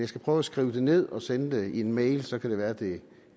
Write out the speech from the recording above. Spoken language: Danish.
skal prøve at skrive det ned og sende det i en mail så kan det være at det